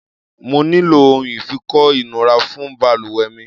Mo nílò ohun ìfikọ́ ìnura fún balùwẹ̀ mi.